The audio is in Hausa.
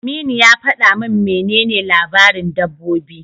Aminu ya faɗa min menene labaran dabbobi.